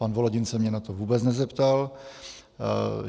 Pan Volodin se mě na to vůbec nezeptal.